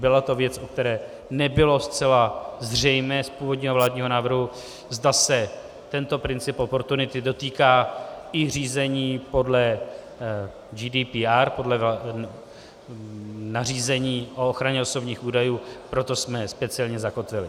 Byla to věc, u které nebylo zcela zřejmé z původního vládního návrhu, zda se tento princip oportunity dotýká i řízení podle GDPR, podle nařízení o ochraně osobních údajů, proto jsme jej speciálně zakotvili.